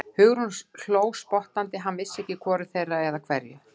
Hugrún hló spottandi, hann vissi ekki að hvoru þeirra, eða hverju.